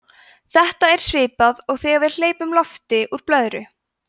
þetta er svipað og þegar við hleypum lofti úr blöðru